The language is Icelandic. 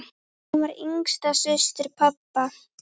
Hún var yngsta systir pabba.